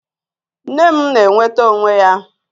Nne m na-enweta onwe ya